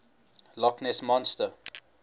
loch ness monster